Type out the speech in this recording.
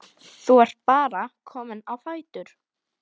Þú ert bara kominn á fætur?